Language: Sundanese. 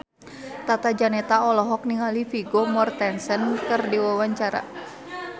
Tata Janeta olohok ningali Vigo Mortensen keur diwawancara